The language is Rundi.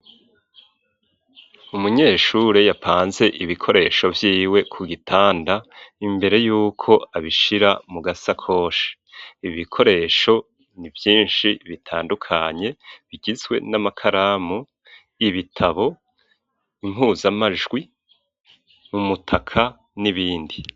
Umunyeshure, yapanze ibikoresho vyiwe, ku gitanda, imbere y'uko, abishira mu gasakoshi; ibikoresho ni vyinshi, bitandukanye; bigizwe n'amakaramu, ibitabo, impuzamajwi, umutaka, n'ibindi.